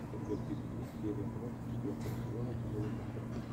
у тебя в списке есть серия двадцать четвертого сезона тимон и пумба